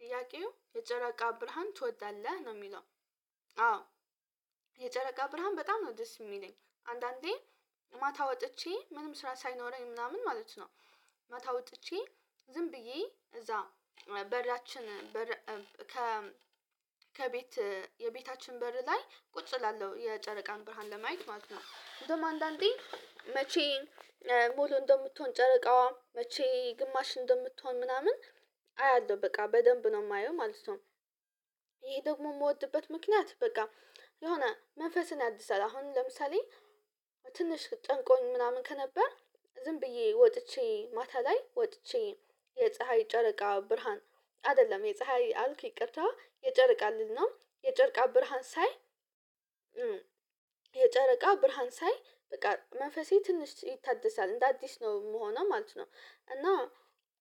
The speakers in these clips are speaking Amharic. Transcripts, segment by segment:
ጥያቄው የጨረቃ ብርሃን ትወዳለህ ነው ሚለው? አዎ የጨረቃ ብርሃን በጣም ነው ደስ ሚለኝ። አንዳንዴ ማታ ወጥቼ ምንም ስራ ሳይኖረኝ ምናምን ማለት ነው። ማታ ወጥቼ ዝም ብዬ እዛ በራችን። ከቤት የቤታችን በር ላይ ቁጭ እላለሁ የጨረቃን ብርሃን ለማየት ማለት ነው። እንደውም አንዳንዴ መቼ ሙሉ እንደምትሆን ጨረቃዋ መቼ ግማሽ እንደምትሆን ምናምን አያለሁ በቃ በደንብ ነው ማየው ማለት። ይሄ ደግሞ ምወድበት ምክንያት በቃ የሆነ መንፈስን ያድሳል። አሁን ለምሳሌ ትንሽ ጨንቆኝ ምናምን ከነበር። ዝም ብዬ ወጥቼ ማታ ላይ ወጥቼ የፀሀይ ጨረቃ ብርሃን አይደለም የፀሀይ አልክ ይቅርታ የጨረቃ ልል ነው። የጨረቃ ብርሃን ሳይ የጨረቃ ብርሃን ሳይ በቃ መንፈሴ ትንሽ ይታደሳል እንደ አዲስ ነው ምሆነው ማለት ነው። እና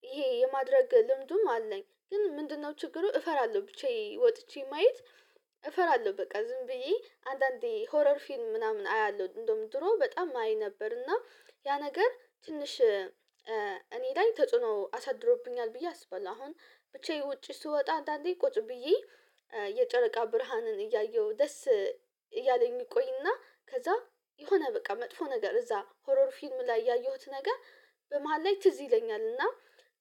ይሄ የማድረግ ልምዱም አለኝ ግን ምንድነው ችግሩ እፈራለሁ ብቻዬን ወጥቼ ማየት። እፈራለሁ በቃ ዝም ብዬ አንዳንዴ ሆረር ፊልም ምናምን አያለሁ እንደውም ድሮ በጣም አይ ነበር። እና ያ ነገር ትንሽ እኔ ላይ ተጽዕኖ አሳድሮብኛል ብዬ አስበላ አሁን ብቻዬን ውጪ ስወጣ አንዳንዴ ቁጭ ብዬ። የጨረቃ ብርሃንን እያየሁ ደስ እያለኝ ቆይና ከዛ የሆነ በቃ መጥፎ ነገር እዛ ሆሮር ፊልም ላይ ያየሁት ነገር። በመሃል ላይ ትዝ ይለኛል እና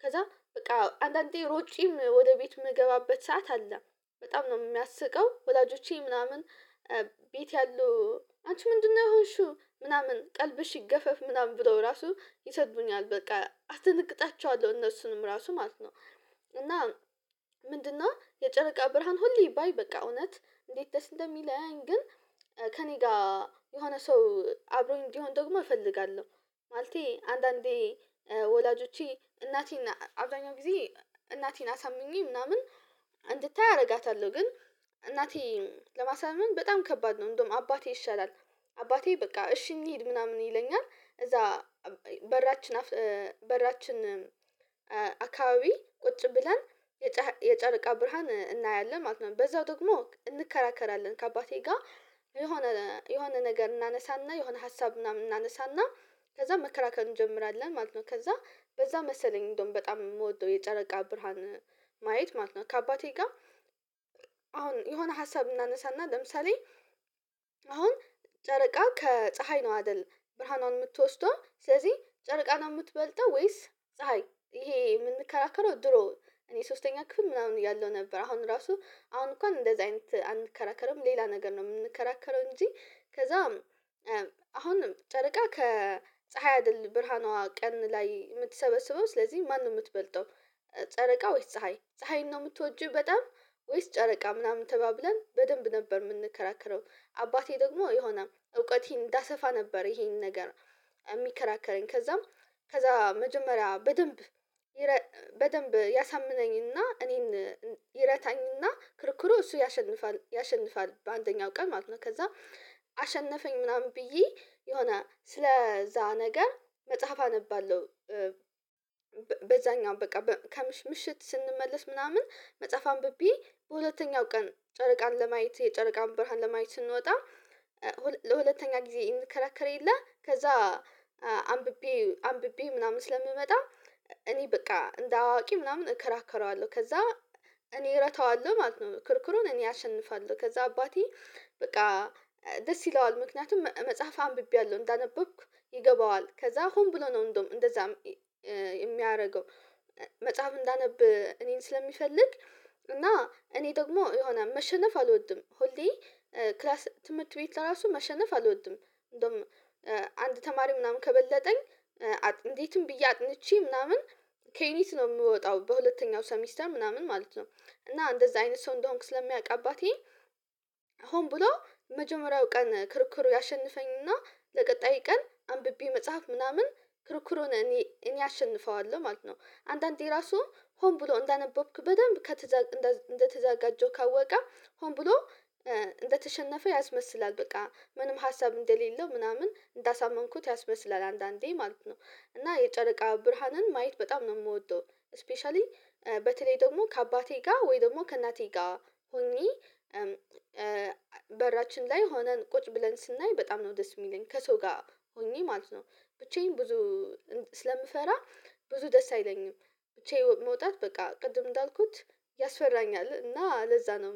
ከዛ በቃ አንዳንዴ ሮጬም ወደ ቤት ምገባበት ሰዓት አለ። በጣም ነው ሚያስቀው ወላጆቼ ምናምን ቤት ያለው አንቺ ምንድነው የሆንሽው ምናምን ቀልብሽ ይገፈፍ ምናምን ብለው ራሱ ይሰድቡኛል በቃ አተነግጣቸዋለሁ እነሱንም ራሱ ማለት ነው። እና ምንድነው የጨረቃ ብርሃን ሁሌ ባይ በቃ እውነት እንዴት ደስ እንደሚለኝ? ግን ከእኔ ጋ የሆነ ሰው አብሮኝ እንዲሆን ደግሞ እፈልጋለሁ። ማለቴ አንዳንዴ ወላጆቼ እናቴን አብዛኛው ጊዜ እናቴን አሳምኜ ምናምን እንድታይ አረጋታለሁ። ግን እናቴ ለማሳመን በጣም ከባድ ነው። እንደውም አባቴ ይሻላል አባቴ በቃ እሺ እንሂድ ምናምን ይለኛል። እዛ በራችን በራችን አካባቢ ቁጭ ብለን የጨረቃ ብርሃን እናያለን ማለት ነው። በዛው ደግሞ እንከራከራለን ከአባቴ ጋር የሆነ የሆነ ነገር እናነሳና የሆነ ሀሳብ ምናምን እናነሳና ከዛ መከራከር እንጀምራለን ማለት ነው። ከዛ በዛ መሰለኝ እንደውም በጣም ምወደው የጨረቃ ብርሃን ማየት ማለት ነው። ከአባቴ ጋ አሁን የሆነ ሀሳብ እናነሳና ለምሳሌ አሁን ጨረቃ ከፀሀይ ነው አይደል? ብርሃኗን ምትወስደው ስለዚህ ጨረቃ ነው ምትበልጠው ወይስ ፀሀይ ይሄ ምንከራከረው ድሮ። እኔ ሶስተኛ ክፍል ምናምን ያለው ነበር አሁን ራሱ አሁን እንኳን እንደዚህ አይነት አንከራከርም ሌላ ነገር ነው የምንከራከረው። እንጂ ከዛም አሁንም ጨርቃ ከፀሀይ አይደለም ብርሃኗ ቀን ላይ ምትሰበስበው ስለዚህ ማነው ምትበልጠው? ጨረቃ ወይስ ፀሀይ ፀሀይን ነው ምትወጂው በጣም ወይስ ጨረቃ ምናምን ተባብለን በደንብ ነበር ምንከራከረው። አባቴ ደግሞ የሆነ እውቀቴን እንዳሰፋ ነበር ይሄንን ነገር። ሚከራከረኝ ከዛም ከዛ መጀመሪያ በደንብ በደንብ ያሳምነኝና እኔን ይረታኝና ክርክሩ እሱ ያሸንፋል ያሸንፋል በአንደኛው ቀን ማለት ነው። ከዛ አሸነፈኝ ምናምን ብዬ የሆነ ስለዛ ነገር መጽሐፍ አነባለሁ። በዛኛው በቃ ከምሽት ስንመለስ ምናምን መጽሐፍ አንብቤ በሁለተኛው ቀን ጨርቃን ለማየት የጨርቃን በርሃን ለማየት ስንወጣ። ጊዜ እንከራከረ የለ ከዛ አንብቤ አንብቤ ምናምን ስለምመጣ። እኔ በቃ እንደ አዋቂ ምናምን እከራከረዋለሁ ከዛ እኔ እረታዋለሁ ማለት ነው። ክርክሩን እኔ አሸንፋለሁ። ከዛ አባቴ በቃ ደስ ይለዋል ምክንያቱም መጽሐፍ አንብቤያለሁ እንዳነበብኩ ይገባዋል ከዛ ሆን ብሎ ነው እንደውም እንደዛም ሚያደርገው። መጽሐፍ እንዳነብ እኔን ስለሚፈልግ እና እኔ ደግሞ የሆነ መሸነፍ አልወድም። ሆልዴ ክላስ ትምህርት ቤት ለራሱ መሸነፍ አልወድም። እንደውም አንድ ተማሪ ምናምን ከበለጠኝ እንዴትም ብዬ አጥንቼ ምናምን ኬኒስ ነው ምወጣው በሁለተኛው ሰሚስተር ምናምን ማለት ነው። እና እንደዛ አይነት ሰው እንደሆንክ ስለሚያቅ አባቴ። ሆን ብሎ መጀመሪያው ቀን ክርክሩ ያሸንፈኝና ለቀጣይ ቀን አንብቤ መጽሐፍ ምናምን ክርክሩን እኔ እኔ አሸንፈዋለሁ ማለት ነው። አንዳንዴ ራሱ ሆን ብሎ እንዳነበብክ በደንብ እንደተዘጋጀው ካወቀ ሆን ብሎ እንደተሸነፈ ያስመስላል በቃ ምንም ሀሳብ እንደሌለው ምናምን እንዳሳመንኩት ያስበስላል። አንዳንዴ ማለት ነው እና የጨረቃ ብርሃንን ማየት በጣም ነው ምወደው። ስፔሻሊ በተለይ ደግሞ ከአባቴ ጋ ወይ ደግሞ ከእናቴ ጋ ሆኜ በራችን ላይ ሆነን ቁጭ ብለን ስናይ በጣም ነው ደስ ሚለኝ ከሰው ጋ ሆኜ ማለት ነው። ብቻዬን ብዙ ስለምፈራ ብዙ ደስ አይለኝም። ብቻዬን መውጣት በቃ ቅድም እንዳልኩት ያስፈራኛል እና ለዛ ነው።